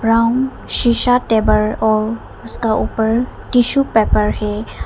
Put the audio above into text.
Brown शिशा table और उसका ऊपर टिशू पेपर है।